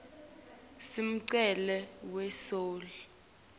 sinemculo we soul